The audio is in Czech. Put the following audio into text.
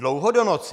Dlouho do noci.